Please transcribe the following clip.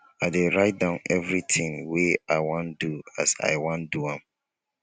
i dey write down everytin wey i wan do as i wan do am